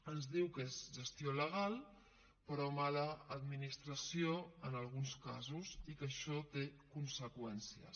ens diu que és gestió legal però mala administració en alguns casos i que això té conseqüències